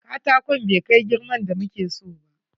Katakon bai kai girman da muke so ba.